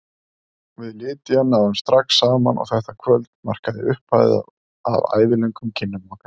Við Lydia náðum strax saman og þetta kvöld markaði upphafið að ævilöngum kynnum okkar.